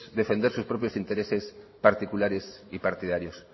defender sus propios intereses particulares y partidarios